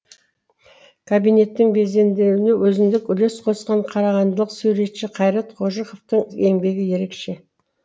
кабинеттің безендірілуіне өзіндік үлес қосқан қарағандылық суретші қайрат қожықовтың еңбегі ерекше